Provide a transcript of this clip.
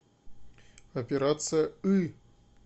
операция ы